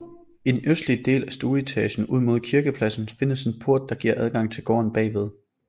I den østligste del af stueetagen ud mod kirkepladsen findes en port der giver adgang til gården bagved